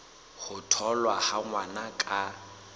ho tholwa ha ngwana ka